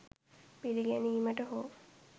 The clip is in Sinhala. පිළිගැනීමට හෝ